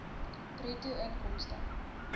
bruto inkomste